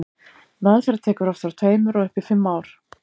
meðferð tekur oft frá tveimur og upp í fimm ár